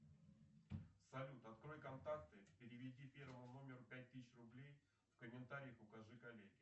салют открой контакты переведи первому номеру пять тысяч рублей в комментариях укажи коллеге